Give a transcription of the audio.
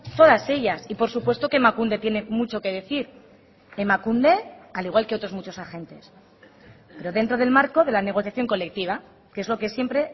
todas ellas y por supuesto que emakunde tiene mucho que decir emakunde al igual que otros muchos agentes pero dentro del marco de la negociación colectiva que es lo que siempre